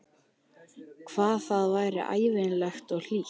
Hvað það var ævintýralegt og hlýtt.